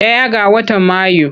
Ɗaya ga watan Mayu.